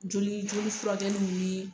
Joli joli furakɛliw ni